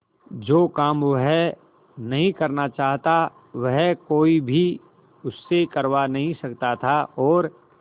जो काम वह नहीं करना चाहता वह कोई भी उससे करवा नहीं सकता था और